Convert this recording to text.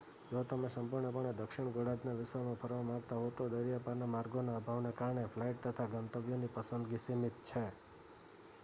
જો તમે સંપૂર્ણપણે દક્ષિણ ગોળાર્ધના વિશ્વમાં ફરવા માગતા હો તો દરિયાપારના માર્ગોના અભાવને કારણે ફ્લાઇટ તથા ગંતવ્યોની પસંદગી સીમિત છે